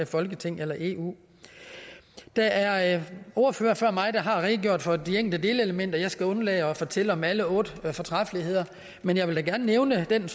folketinget eller eu der er ordførere før mig der har redegjort for de enkelte elementer og jeg skal undlade at fortælle om alle otte fortræffeligheder men jeg vil da gerne nævne det